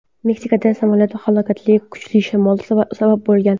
Meksikada samolyot halokatiga kuchli shamol sabab bo‘lgan.